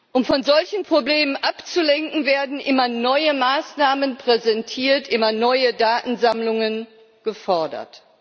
Um von solchen Problemen abzulenken, werden immer neue Maßnahmen präsentiert, immer neue Datensammlungen gefordert.